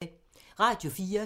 Radio 4